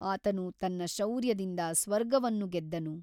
ಆತನು ತನ್ನ ಶೌರ್ಯದಿಂದ ಸ್ವರ್ಗವನ್ನು ಗೆದ್ದನು.